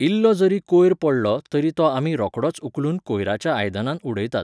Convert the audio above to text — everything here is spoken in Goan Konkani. इल्लो जरी कोयर पडलो तरी तो आमी रोखडोच उखलून कोयराच्या आयदनांत उडयतात.